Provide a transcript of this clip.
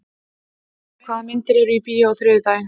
Hallkell, hvaða myndir eru í bíó á þriðjudaginn?